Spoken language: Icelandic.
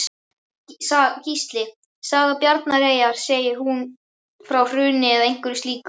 Gísli: Saga Bjarnareyjar, segir hún frá hruni eða einhverju slíku?